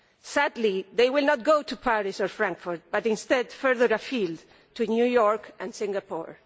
Sadly, they will not go to Paris or Frankfurt, but instead further afield to New York and Singapore.